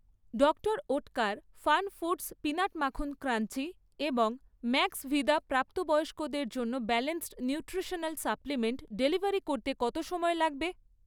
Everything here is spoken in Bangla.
ডক্টর ওটকার ফানফুড্স পিনাট মাখন ক্রাঞ্চি এবং ম্যাক্সভিদা প্রাপ্তবয়স্কদের জন্য ব্যালান্সড নিউট্রিশনাল সাপ্লিমেন্ট ডেলিভারি করতে কত সময় লাগবে?